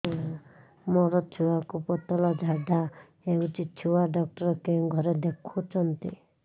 ମୋର ଛୁଆକୁ ପତଳା ଝାଡ଼ା ହେଉଛି ଛୁଆ ଡକ୍ଟର କେଉଁ ଘରେ ଦେଖୁଛନ୍ତି